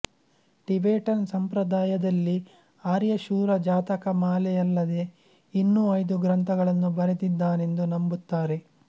Tibetan ಸಂಪ್ರದಾಯ ದಲ್ಲಿ ಆರ್ಯಶೂರ ಜಾತಕಮಾಲೆಯಲ್ಲದೆ ಇನ್ನೂ ಐದು ಗ್ರಂಥಗಳನ್ನು ಬರೆದಿದ್ದಾನೆಂದು ನಂಬುತ್ತಾರೆ